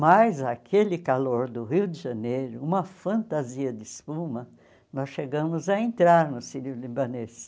Mas aquele calor do Rio de Janeiro, uma fantasia de espuma, nós chegamos a entrar no Sírio-Libanês.